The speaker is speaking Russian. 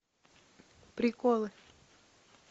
приколы